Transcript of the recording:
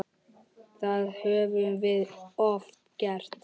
Það höfum við oft gert.